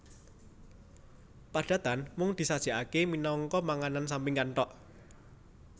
Padatan mung disajèkaké minangka panganan sampingan thok